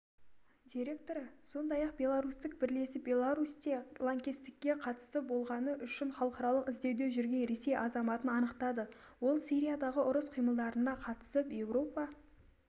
директоры сондай-ақ беларусьтік бірлесіп беларусьте лаңкестікке қатысы болғаны үшін халықаралық іздеуде жүрген ресей азаматын анықтады ол сириядағы ұрыс қимылдарына қатысып еуропа